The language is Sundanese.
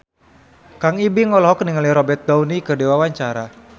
Kang Ibing olohok ningali Robert Downey keur diwawancara